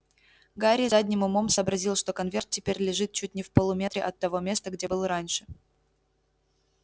гарри задним умом сообразил что конверт теперь лежит чуть не в полуметре от того места где был раньше